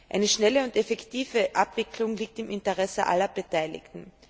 Eine schnelle und effektive Abwicklung liegt im Interesse aller Beteiligten.